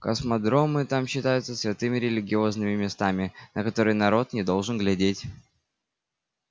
космодромы там считаются святыми религиозными местами на которые народ не должен глядеть